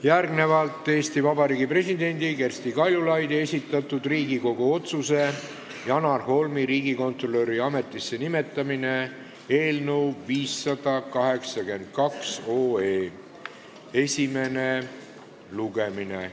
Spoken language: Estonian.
Järgnevalt on Eesti Vabariigi presidendi Kersti Kaljulaidi esitatud Riigikogu otsuse "Janar Holmi riigikontrolöri ametisse nimetamine" eelnõu 582 esimene lugemine.